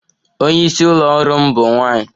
Onye isi ụlọ ọrụ m bụ nwanyị